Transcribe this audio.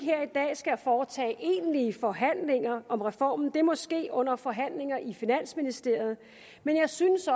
skal foretage egentlige forhandlinger om reformen det må ske under forhandlinger i finansministeriet men jeg synes